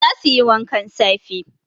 Za su yi wankan safe